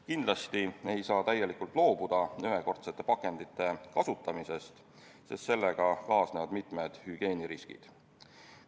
Kindlasti ei saa täielikult loobuda ühekordsete pakendite kasutamisest, sest sellega kaasnevad mitmed hügieeniriskid.